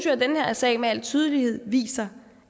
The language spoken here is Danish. at den her sag med al tydelighed viser